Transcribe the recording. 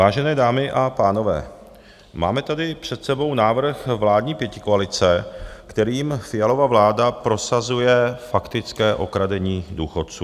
Vážené dámy a pánové, máme tady před sebou návrh vládní pětikoalice, kterým Fialova vláda prosazuje faktické okradení důchodců.